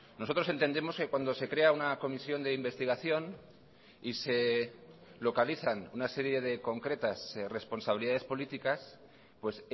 nosotros entendemos que cuando se crea una comisión de investigación y se localizan una serie de concretas responsabilidades políticas pues